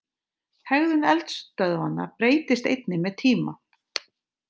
Hegðun eldstöðvanna breytist einnig með tíma.